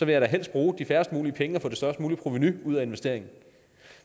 jeg da helst bruge færrest muligt penge på at få det størst mulige provenu ud af investeringen